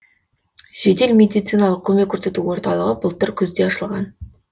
жедел медициналық көмек көрсету орталығы былтыр күзде ашылған